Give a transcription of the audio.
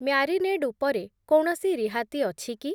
Marinade ଉପରେ କୌଣସି ରିହାତି ଅଛି କି?